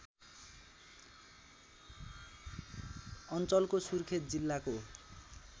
अञ्चलको सुर्खेत जिल्लाको